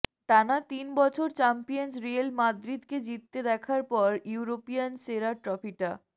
টানা তিন বছর চ্যাম্পিয়নস রিয়াল মাদ্রিদকে জিততে দেখার পর ইউরোপিয়ান সেরার ট্রফিটা